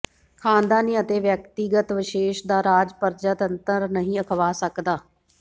ਖਾਨਦਾਨੀ ਅਤੇ ਵਿਅਕਤੀਵਿਸ਼ੇਸ਼ ਦਾ ਰਾਜ ਪਰਜਾਤੰਤਰ ਨਹੀਂ ਅਖਵਾ ਸਕਦਾ